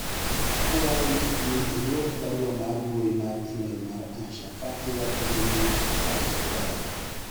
akwayi ni idwok barua mar mbui mar email mar Asha ka iwchone ni pache ber